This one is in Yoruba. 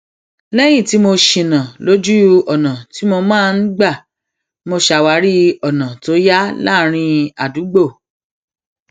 léyìn tí mo ṣìnà lójú ọnà tí mo máa n gbà mo ṣàwárí ọnà tó yá láàárín àdúgbò